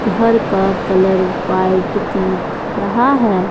घर का colour white दिख रहा है।